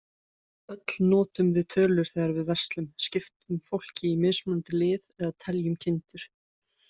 Öll notum við tölur þegar við verslum, skiptum fólki í mismunandi lið, eða teljum kindur.